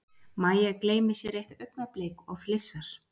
Mæja gleymir sér eitt augnablik og flissar.